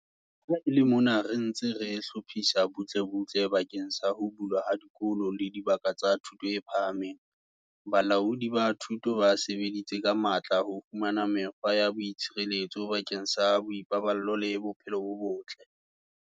Ha e le mona re ntse re hlophisa butlebutle bakeng sa ho bulwa ha dikolo le dibaka tsa thuto e phahameng, balaodi ba thuto ba sebeditse ka matla ho fumana mekgwa ya boitshireletso bakeng sa boipaballo le bophelo bo botle.